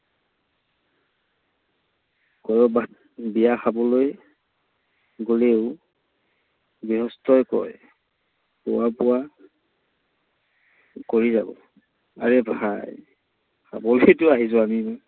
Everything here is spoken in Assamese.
কৰবাত বিয়া খাবলৈ গলেও গৃহস্থয়ে কয়, খোৱা বোৱা কৰি যাব। আৰে ভাই, খাবলেইতো আহিছো আমি।